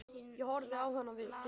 Ég horfði á hana hissa.